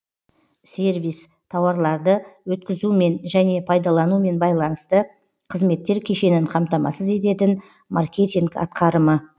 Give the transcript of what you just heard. сервис тауарларды өткізумен және пайдаланумен байланысты қызметтер кешенін қамтамасыз ететін маркетинг атқарымы